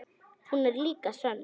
Hún er líka sönn.